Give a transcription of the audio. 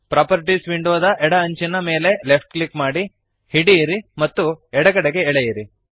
properties ವಿಂಡೋದ ಎಡ ಅಂಚಿನ ಮೇಲೆ ಲೆಫ್ಟ್ ಕ್ಲಿಕ್ ಮಾಡಿರಿ ಹಿಡಿಯಿರಿ ಮತ್ತು ಎಡಗಡೆಗೆ ಎಳೆಯಿರಿ